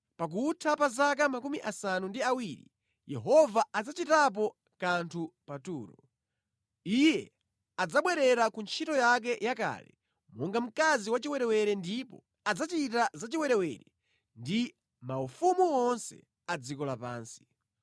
Pakutha pa zaka 70, Yehova adzachitapo kanthu pa Turo. Iye adzabwerera ku ntchito yake yakale monga mkazi wachiwerewere ndipo adzachita zachiwerewere ndi maufumu onse a dziko lapansi.